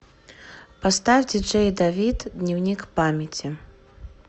поставь диджей давид дневникпамяти